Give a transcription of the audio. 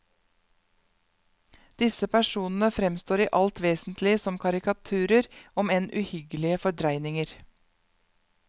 Disse personene fremstår i alt vesentlig som karikaturer, om enn uhyggelige fordreininger.